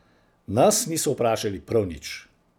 Nas niso vprašali prav nič.